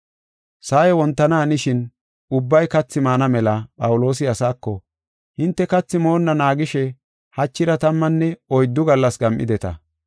Sa7ay wontana hanishin ubbay kathi maana mela Phawuloosi asaako, “Hinte kathi moonna naagishe hachira tammanne oyddu gallas gam7ideta.